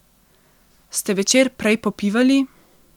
Ste večer prej popivali?